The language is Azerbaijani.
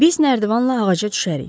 Biz nərdivanla ağaca düşərik.